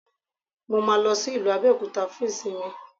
Mo máa lọ sí ìlú Abẹ́òkúta fún ìsinmi